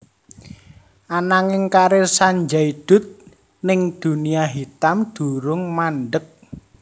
Ananging karir Sanjay Dutt ning dunia hitam durung mandhek